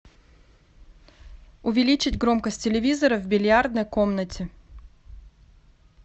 увеличить громкость телевизора в бильярдной комнате